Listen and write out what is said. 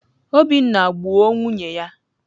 Obinna gbuo nwunye ya.